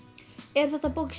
er þetta bók